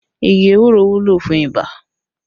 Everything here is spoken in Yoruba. Igi ewúro wúlò fún ibà